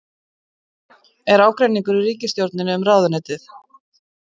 Er ágreiningur í ríkisstjórninni um ráðuneytið?